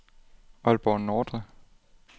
Aalborg Nordre